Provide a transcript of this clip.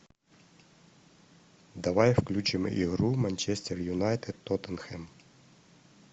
давай включим игру манчестер юнайтед тоттенхэм